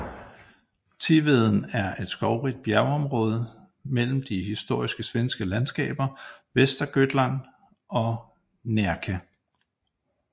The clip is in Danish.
Tiveden er et skovrigt bjergområde mellem de historiske svenske landskaber Västergötland og Närke